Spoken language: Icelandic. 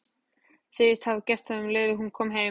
Segist hafa gert það um leið og hún kom heim.